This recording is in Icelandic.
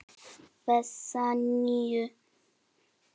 Þessa nýju.